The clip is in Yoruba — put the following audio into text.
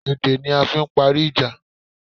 Èdè ni a fi n parí ìjà